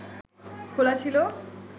খোলা ছিল